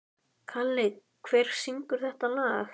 Kalli, hver syngur þetta lag?